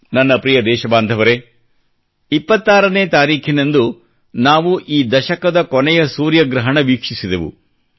ನನ್ನ ಪ್ರಿಯ ದೇಶಬಾಂಧವರೆ ಕಳೆದ 26 ನೇ ತಾರೀಖಿನಂದು ನಾವು ಈ ದಶಕದ ಕೊನೆಯ ಸೂರ್ಯಗ್ರಹಣ ವೀಕ್ಷಿಸಿದೆವು